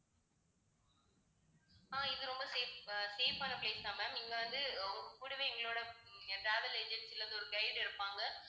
ஆஹ் இது ரொம்ப safe அஹ் safe ஆன place தான் ma'am. இங்க நீங்க வந்து அஹ் கூடவே எங்களோட உம் அஹ் travel agency ல இருந்து ஒரு guide இருப்பாங்க